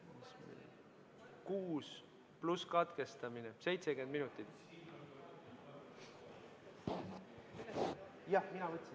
V a h e a e g